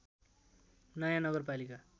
नयाँ नगरपालिका